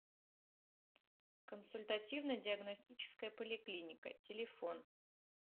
консультативно диагностическая поликлиника телефон